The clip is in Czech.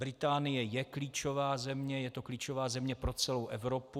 Británie je klíčová země, je to klíčová země pro celou Evropu.